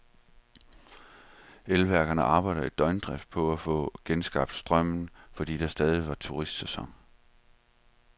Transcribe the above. Elværkerne arbejde i døgndrift på at få genskabt strømmen, fordi det stadig var turistsæson.